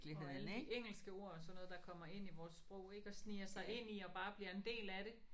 Og alle de engelske ord og sådan noget der kommer ind i vores sprog ik og sniger sig ind i og bare bliver en del af det